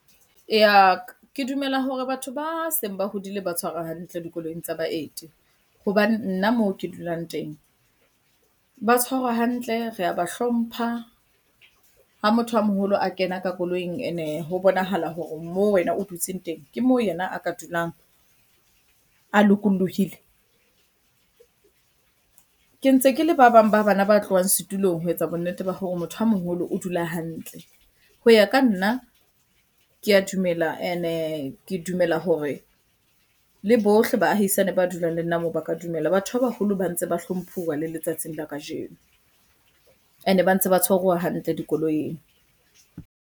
Eya, ke dumela hore batho ba seng ba hodile ba tshwarwa hantle dikoloing tsa baeti. Hobane nna mo ke dulang teng, ba tshwarwa hantle, re a ba hlompha. Ha motho a moholo a kena ka koloing, e ne ho bonahala hore moo wena o dutseng teng ke moo yena a ka dulang a lokollohile. Ke ntse ke le ba bang ba bana ba tlohang setulong ho etsa bonnete ba hore motho a moholo o dula hantle. Ho ya ka nna, ke a dumela e ne ke dumela hore le bohle baahisane ba dulang le nna moo ba ka dumela. Batho ba baholo ba ntse ba hlomphuwa le letsatsing la kajeno, e ne ba ntse ba tshwaruwa hantle dikoloing.